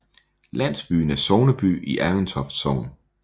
Landsbyen er sogneby i Aventoft Sogn